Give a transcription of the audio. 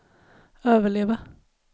överleva